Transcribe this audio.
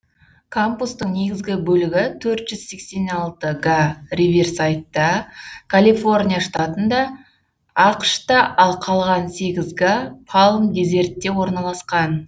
кампустың негізгі бөлігі төрт жүз сексен алты га риверсайдта калифорния штатында ақш та ал қалған сегіз га палм дезертте орналасқан